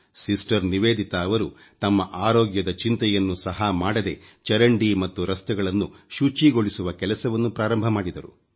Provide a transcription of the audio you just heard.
sister Nivedita ಅವರು ತಮ್ಮ ಆರೋಗ್ಯದ ಚಿಂತೆಯನ್ನು ಸಹ ಮಾಡದೆ ಚರಂಡಿ ಮತ್ತು ರಸ್ತೆಗಳನ್ನು ಶುಚಿಗೊಳಿಸುವ ಕೆಲಸವನ್ನು ಪ್ರಾರಂಭಿಸಿದರು